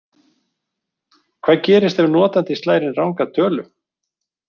Hvað gerist ef notandinn slær inn ranga tölu?